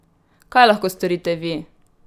Kaj lahko storite vi?